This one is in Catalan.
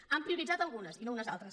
n’han prioritzat algunes i no unes altres